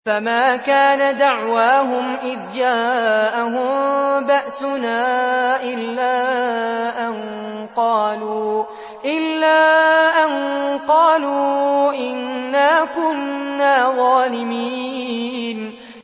فَمَا كَانَ دَعْوَاهُمْ إِذْ جَاءَهُم بَأْسُنَا إِلَّا أَن قَالُوا إِنَّا كُنَّا ظَالِمِينَ